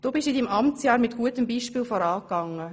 Du bist in deinem Amtsjahr mit gutem Beispiel vorangegangen.